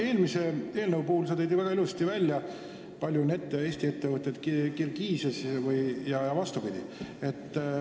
Eelmise eelnõu puhul tõid sa väga ilusasti välja, kui palju on Eesti ettevõtteid Kirgiisias ja vastupidi.